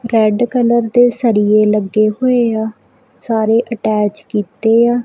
Red colour ਦੇ ਸਰੀਏ ਲੱਗੇ ਹੋਏ ਆ ਸਾਰੇ ਅਟੈਚ ਕੀਤੇ ਆ।